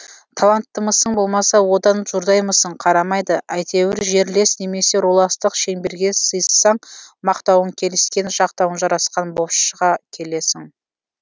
таланттымысың болмаса одан жұрдаймысың қарамайды әйтеуір жерлес немесе руластық шеңберге сыйыссаң мақтауың келіскен жақтауың жарасқан болып шыға келесің